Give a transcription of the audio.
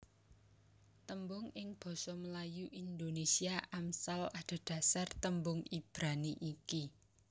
Tembung ing basa Melayu Indonésia Amsal adhedhasar tembung Ibrani iki